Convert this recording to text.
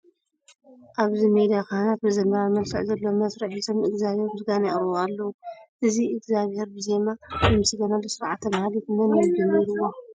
ኣብዚ ሜዳ ካህናት መዘምራንን መልክዕ ዘለዎ መስርዕ ሒዞም ንእግዚኣብሄር ምስጋና የቕርቡ ኣለዉ፡፡ እዚ እግዚኣብሄር ብዜማ ዝምስገነሉ ስርዓተ ማህሌት መን እዩ ጀሚርዎ?